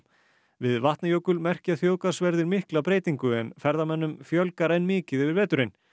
við Vatnajökul merkja þjóðgarðsverðir mikla breytingu en ferðamönnum fjölgar enn mikið yfir veturinn